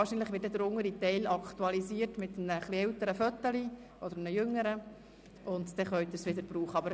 Wahrscheinlich wird der untere Teil mit einem älteren oder einem jüngeren Foto aktualisiert, und danach können Sie den Badge wieder brauchen.